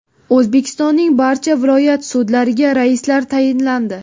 O‘zbekistonning barcha viloyat sudlariga raislar tayinlandi.